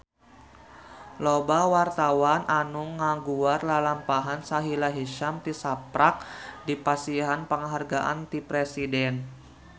Loba wartawan anu ngaguar lalampahan Sahila Hisyam tisaprak dipasihan panghargaan ti Presiden